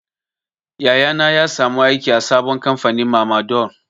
Yaya na ya samu aiki a sabon kamfanin mamador.